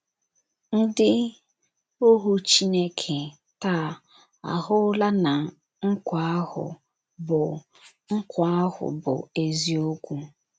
Ndị ohu Chineke taa ahụla na nkwa ahụ bụ ahụ bụ eziokwu.